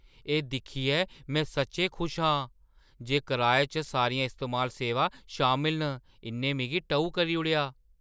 एह् दिक्खियै में सच्चैं खुश आं जे कराए च सारियां इस्तेमाल-सेवां शामल न। इʼन्नै मिगी टऊ करी ओड़ेआ!